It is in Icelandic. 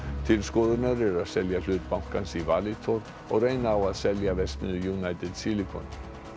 til skoðunar er selja hlut bankans í Valitor og reyna á að selja verksmiðju United Silicon